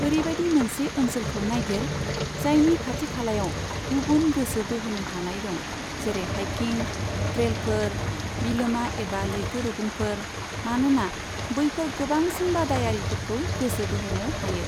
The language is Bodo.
ओरैबायदि मोनसे ओनसोलखौ नायगिर, जायनि खाथि खालायाव गुबुन गोसो बोहोनो हानाय दं, जेरै हाइकिं, ट्रेलफोर, बिलोमा एबा लैथोरुगुंफोर, मानोना बैफोर गोबांसिन बादायारिफोरखौ गोसो बोहोनो हायो।